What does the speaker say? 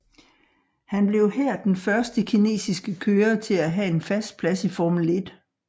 Han blev her den første kinesiske kører til at have en fast plads i Formel 1